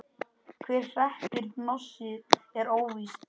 Hver hreppir hnossið er óvíst.